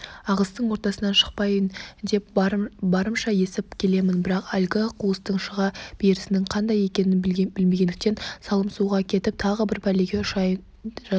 ағыстың ортасынан шықпайын деп барымша есіп келемін бірақ әлгі қуыстың шыға берісінің қандай екенін білмегендіктен салым суға кетіп тағы бір пәлеге ұшырай жаздадым